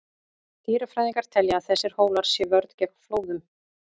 Dýrafræðingar telja að þessir hólar sé vörn gegn flóðum.